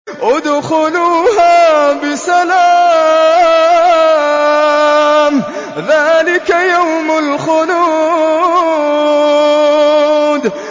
ادْخُلُوهَا بِسَلَامٍ ۖ ذَٰلِكَ يَوْمُ الْخُلُودِ